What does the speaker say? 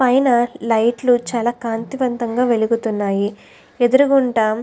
పైన లైట్ లు చాలా కాంతివంతంగా వెలుగుతున్నాయి. ఎదురుగుంట--